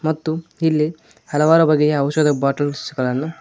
ಮತ್ತು ಇಲ್ಲಿ ಹಲವಾರು ಬಗ್ಗೆ ಔಷಧಿ ಬಾಟಲ್ಸ್ ಗಳನ್ನು.